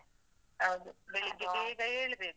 ಹೌದು, ಬೆಳಿಗ್ಗೆ ಬೇಗ ಏಳ್ಬೇಕು.